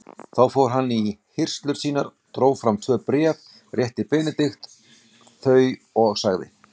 Þá fór hann í hirslur sínar, dró fram tvö bréf, rétti Benedikt þau og sagði